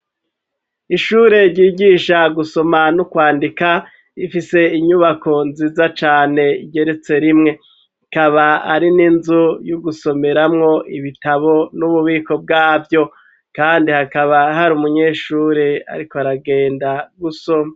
Ishure ryigisha gusoma n'ukwandika ifise inyubako nziza cane igeretse rimwe ikaba ari n'inzu y'ugusomeramwo ibitabo n'ububiko bwavyo, kandi hakaba hari umunyeshure, ariko aragenda gusoma.